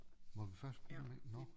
Må vi først bruge nåh